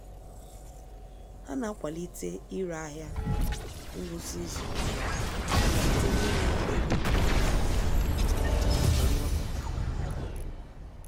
Ha na-akwalite ire ahịa ngwụsị izu site n'ịnye ego mbelata na atụmatụ ngwakọta